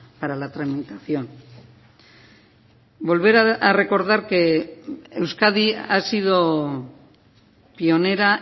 para la tramitación volver a recordar que euskadi ha sido pionera